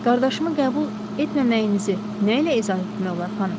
Qardaşımı qəbul etməməyinizi nə ilə izah etmək olar, xanım?